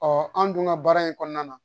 an dun ka baara in kɔnɔna na